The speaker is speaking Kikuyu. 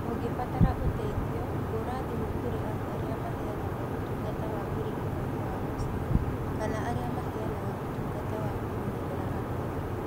Ũngĩbatara ũteithio, hũra thimũ kũrĩ andũ arĩa maheanaga ũtungata wa ũrigitani wa mũciĩ kana arĩa maheanaga ũtungata wa kũmenyerera andũ agima.